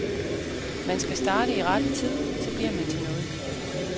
Man skal starte i rette tid, så bliver man til noget.